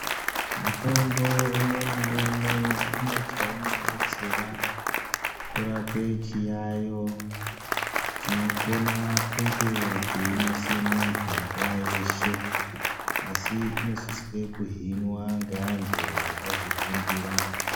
Mutombo umwe naumwe une chaunodetsera kurape chiyayo chinokona kunge cheinese muntu nguva yeshe . Asi inosiswe kuhinwa ngeantu akazvifundira.